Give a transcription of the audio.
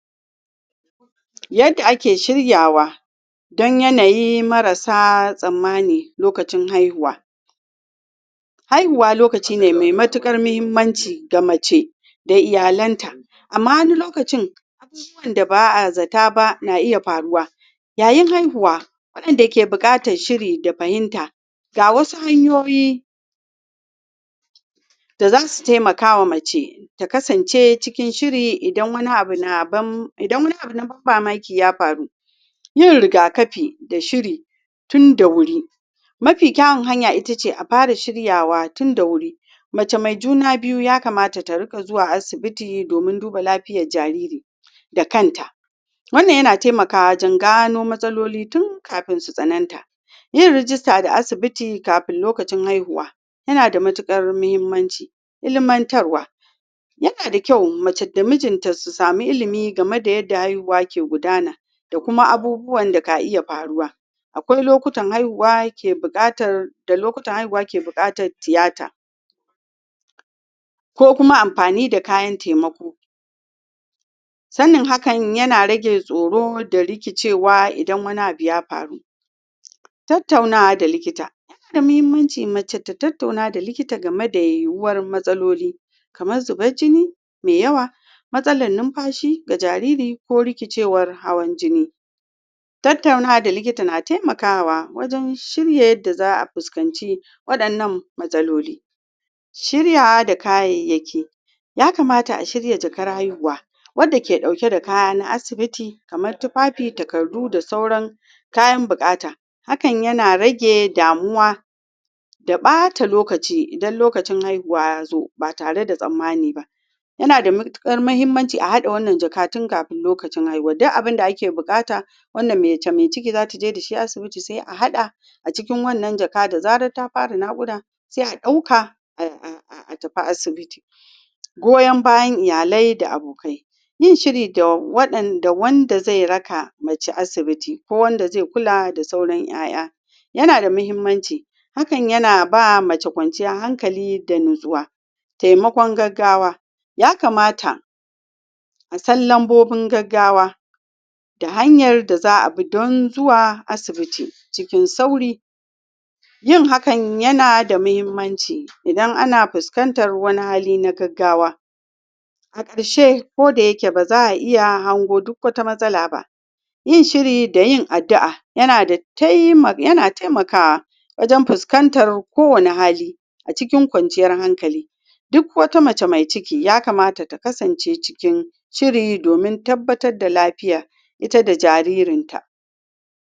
yadda ake shiryawa dan yanayi marasa tsammani lokacin haihuwa haihuwa lokacine mai matukar muhimmanci ga mace da iyalen ta amma wani lokacin zuwan da ba'azata ba na iya faruwa yayin haihuwa wadanke bukatar shiri da fahimta ga wasu hanyoyi da zasu taimakawa mace ta kasance cikin shiri idan wani abu na idan wani abu na ban mamaki ya faru yin rigakafi da shiri tin da wuri mafi kyawun hanya ita ce a fara shiryawa tun da wuri mace mai juna biyu ya kamata ta riga zuwa asibiti domin duba lafiyan jariri dakan ta wannan ya na taimakawa wajen gano matsaloli tun kafin su sananta yin rijista da asibiti kafinlokacin haihuwa yana da matukar muhimmanci ilimantarwa, ya na da kyau mace da mijinta su samu ilimi game da yanda haihuwa ke gudana da kuma abubuwan da ka iya faruwa akwai lokutan haihuwa ke bukatar da lokutan haihuwa ke bukatan theatre ko kuma amfani da kayan taimako sanin haka yana rage tsoro da rikicewa idan wani abu ya faru tattaunawa da likita? muhimmancin mace ta tattauna da likita game da uwar matsaloli kaman zunban jini mai yawa matsalan numfashi da jariri ko rikicewar hawan jini tattaunawa da likita na shiryawa wajen shirye da za'a fuskanci wadannan matsaloli shiryawa da kayayyaki ya kamata a shirya jakar haihuwa wadda ke dauke dakaya na asibiti kamar tufafi takardu da sauran kayan bukata hakan yana rage damuwa da bata lokaci idanlokacin haihuwa ya zo ba tare da tsammani ba ya na da matukar muhimmanci a hada wannan jaka tin kafin lokacin haihuwa duk abin da ake bukata wanda mace mai ciki zata je da shi asibiti sai a hada a cikin wannan jaka da zara ta fara wannan nakuda sai a dauka a tafi asibiti goyon baya iyale da abokai yin shiri da wanda da da wande zai raka mace asibiti ko wanda zai kula da sauran 'ya'ya yana da muhimmanci hakan ya na ba mace kwanciyn hankali da natsuwa taimakon gaggawa ya kamata a san lambobin gaggawa da hanya da za'a bi dan zuwa asibiticikin sauri yin hakan yana da muhimmanci idan ana fuskantar wanihali na gaggawa a karshe ko da yake baza a iya hango duk wata masala ba yin shiri da yin addua ya na taimakawa wajen fuskantar kowane hali a cikin kwanciyar hankali duk wata mace mai ciki ya kamata ka kasance cikin shiri domin tabbata da lafiya ita da jaririn ta